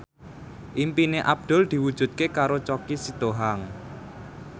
impine Abdul diwujudke karo Choky Sitohang